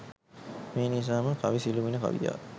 මේ නිසා ම කවි සිළුමිණ කවියා